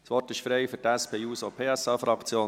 Das Wort ist frei für die SP-JUSO-PSA-Fraktion.